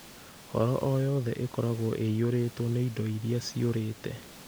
Horo o yothe ĩkoragwo ĩiyũrĩtwo na indo iria ciũrĩte.